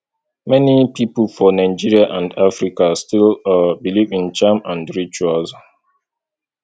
many pipo for nigeria and africa still believe in charm and rituals